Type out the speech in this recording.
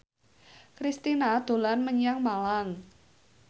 Kristina dolan menyang Malang